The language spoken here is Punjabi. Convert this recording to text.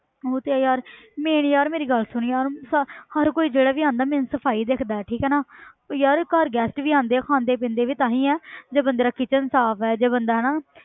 ਉਹ ਤੇ ਹੈ ਯਾਰ ਮੇਰੇ ਯਾਰ ਮੇਰੀ ਗੱਲ ਸੁਣ ਯਾਰ ਸ~ ਹਰ ਕੋਈ ਜਿਹੜਾ ਵੀ ਆਉਂਦਾ main ਸਫ਼ਾਈ ਦੇਖਦਾ ਹੈ ਠੀਕ ਹੈ ਨਾ ਉਹ ਯਾਰ ਘਰ guest ਵੀ ਆਉਂਦੇ ਆ ਖਾਂਦੇ ਪੀਂਦੇ ਵੀ ਤਾਂ ਹੀ ਹੈ ਜੇ ਬੰਦੇ ਦਾ ਕਿਚਨ ਸਾਫ਼ ਹੈ ਜੇ ਬੰਦਾ ਹਨਾ